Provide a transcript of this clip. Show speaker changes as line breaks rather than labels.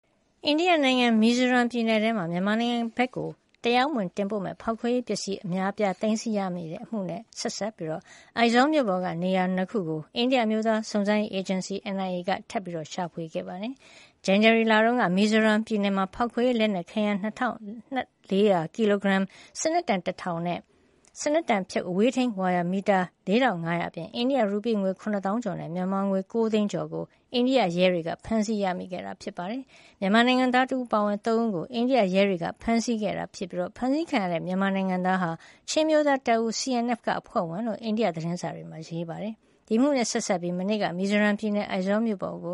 အိန္ဒိယနိုင်ငံ မီဇိုးရမ်း ပြည်နယ်အတွင်း မြန်မာနိုင်ငံဘက်ကို တရားမဝင် ပို့မယ့် ဖေါက်ခွဲရေးပစ္စည်း အမြောက်အများ သိမ်းဆည်းရမိခဲ့တဲ့ အမှုနဲ့ ဆက်စပ်ပြီး အိုက်ဇောမြို့ပေါ်က နေရာ ၂ ခုကို မနေ့က အိန္ဒိယ အမျိုးသား စုံစမ်းစစ်ဆေးရေး အေဂျင်စီ NIA က ထပ်မံရှာဖွေပါတယ်။ ဒီနှစ် ဇန်နဝါရီလအတွင်းက မီဇိုးရမ်းပြည်နယ်မှာ ဖေါက်ခွဲရေး လက်နက်ခဲယမ်း ၂,၄၀၀ ကီလိုဂရမ်၊ စနက်တံ ၁,၀၀၀ နဲ့ စနက်တံဖြုတ် အဝေးထိန်းဝါယာ မီတာ ၄,၅၀၀ အပြင် အိန္ဒိယ ရူပီး ၇၀,၀၀၀ ကျော်နဲ့ မြန်မာငွေ ၉၀၀,၀၀၀ ကျော် ကို အိန္ဒိယရဲတွေက ဖမ်းဆီးမိခဲ့ပါတယ်။ မြန်မာနိုင်ငံသား တဦးအပါအဝင် လူ ၃ ဦးကို အိန္ဒိယ ရဲတွေက ဖမ်းဆီးခဲ့ပြီး ဖမ်းဆီးခံခဲ့ရတဲ့ မြန်မာနိုင်ငံသားဟာ ချင်းအမျိုးသားတပ်ဦး CNF က အဖွဲ့ဝင်တဦး ဖြစ်တဲ့အကြောင်း အိန္ဒိယ သတင်းစာတွေမှာ ရေးပါတယ်။ ဒီအမှုနဲ့ ဆက်စပ်ပြီး မနေ့က မီဇိုးရမ်းပြည်နယ် အိုက်ဇောမြို့ပေါ်က